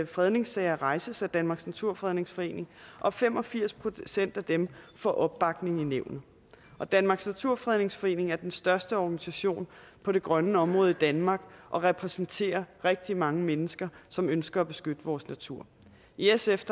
fredningssager rejses af danmarks naturfredningsforening og fem og firs procent af dem får opbakning i nævnet og danmarks naturfredningsforening er den største organisation på det grønne område i danmark og repræsenterer rigtig mange mennesker som ønsker at beskytte vores natur i sf